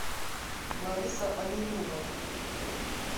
лариса оленева